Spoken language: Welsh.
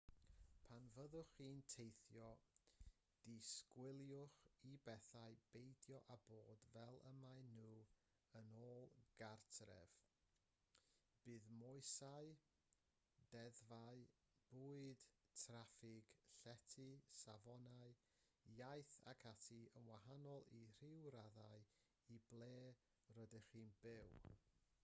pan fyddwch chi'n teithio disgwyliwch i bethau beidio â bod fel y maen nhw yn ôl gartref bydd moesau deddfau bwyd traffig llety safonau iaith ac ati yn wahanol i ryw raddau i ble rydych chi'n byw